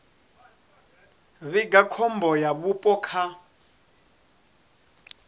vhiga khombo ya vhupo kha